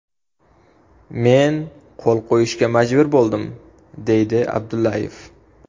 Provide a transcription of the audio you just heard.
Men qo‘l qo‘yishga majbur bo‘ldim”, deydi Abdullayev.